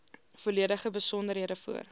volledige besonderhede voor